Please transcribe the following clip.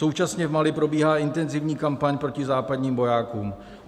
Současně v Mali probíhá intenzivní kampaň proti západním vojákům.